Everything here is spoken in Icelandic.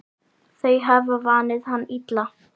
Þau hafa vanið hann illa.